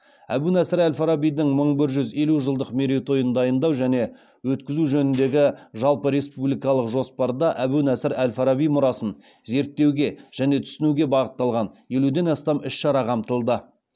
әбу насыр әл фарабидің мың бір жүз елу жылдық мерейтойын дайындау және өткізу жөніндегі жалпыреспубликалық жоспарда әбу насыр әл фараби мұрасын зерттеуге және түсінуге бағытталған елуден астам іс шара қамтылды